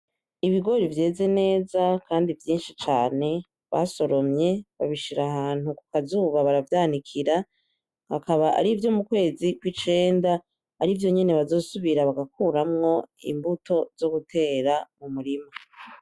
Ibigori vyeze neza kandi vyishi cane basoromye babishira ahantu ku k'azuba baravyanikira bikaba arivyo mu kwezi kw'icenda arivyo nyene bazosubira bagakuramwo imbuto zo gutera mu murima.